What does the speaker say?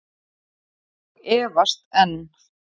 Og efast enn.